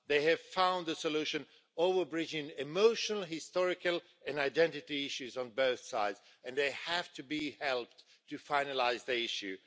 They have found a solution, overbridging emotional, historical and identity issues on both sides and they have to be helped to finalise the issue.